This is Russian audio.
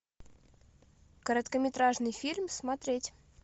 короткометражный фильм смотреть